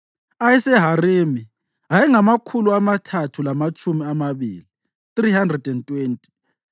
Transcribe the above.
ayeseHarimi ayengamakhulu amathathu lamatshumi amabili (320),